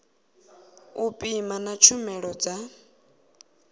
u pima na tshumelo dza